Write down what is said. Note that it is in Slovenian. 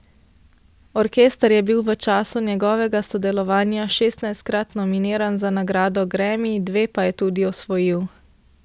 Orkester je bil v času njegovega sodelovanja šestnajstkrat nominiran za nagrado gremi, dve pa je tudi osvojil.